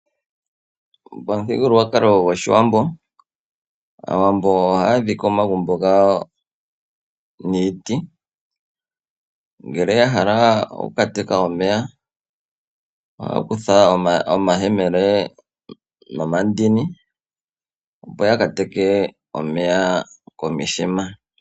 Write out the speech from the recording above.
Pamuthigululwakalo gwOshiwambo, Aawambo ohaya dhike omagumbo gawo niiti ngele ya hala okukateka omeya ohaya kutha omayemele nomandini opo ya ka teke omeya komithima.